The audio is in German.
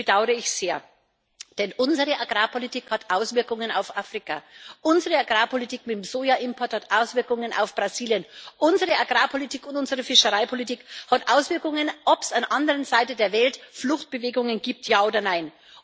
Das bedauere ich sehr, denn unsere Agrarpolitik hat Auswirkungen auf Afrika, unsere Agrarpolitik mit dem Sojaimport hat Auswirkungen auf Brasilien, unsere Agrarpolitik und unsere Fischereipolitik haben Auswirkungen darauf, ob es auf der anderen Seite der Welt Fluchtbewegungen gibt oder nicht.